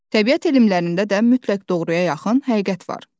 Təbiət elmlərində də mütləq doğruya yaxın həqiqət var.